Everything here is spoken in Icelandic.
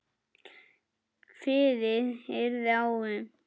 Kveðið yrði á um